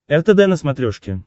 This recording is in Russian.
ртд на смотрешке